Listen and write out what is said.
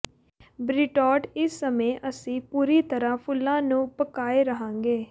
beetroot ਇਸ ਸਮੇਂ ਅਸੀਂ ਪੂਰੀ ਤਰ੍ਹਾਂ ਫੁੱਲਾਂ ਨੂੰ ਪਕਾਏ ਰਹਾਂਗੇ